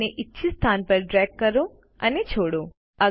હવે તેને ઇચ્છિત સ્થાન પર ડ્રેગ કરો અને છોડો